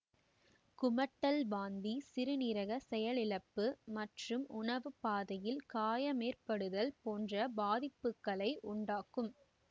குமட்டல் வாந்தி சிறுநீரக செயலிழப்பு மற்றும் உணவு பாதையில் காயமேற்படுத்துதல் போன்ற பாதிப்புகளை உண்டாக்கும்